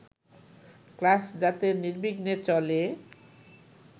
class যাতে নির্বিঘ্নে চলে